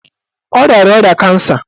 Ọ riara ọrịa kansa